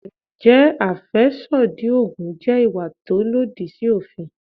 Ǹjẹ́ àfẹ́sódì Ògùn jẹ́ ìwà tó lòdì sí òfin?